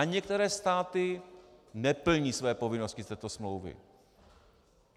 A některé státy neplní své povinnosti z této smlouvy.